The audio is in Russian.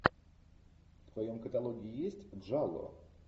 в твоем каталоге есть джалло